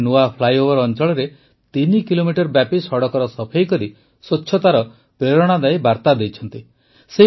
ଏମାନେ ନୂଆ ଫ୍ଲାଇଓଭର୍ ଅଂଚଳରେ ତିନି କିଲୋମିଟର ବ୍ୟାପୀ ସଡ଼କର ସଫେଇ କରି ସ୍ୱଚ୍ଛତାର ପ୍ରେରଣାଦାୟୀ ବାର୍ତ୍ତା ଦେଇଛନ୍ତି